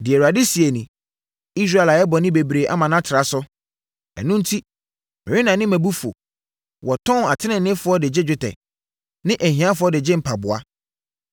Deɛ Awurade seɛ nie: “Israel ayɛ bɔne bebree ama no atra so, ɛno enti, merennane mʼabufuo. Wɔtɔn ateneneefoɔ de gye dwetɛ, ne ahiafoɔ de gye mpaboa.